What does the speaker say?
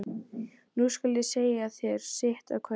Nú skal ég segja þér sitt af hverju.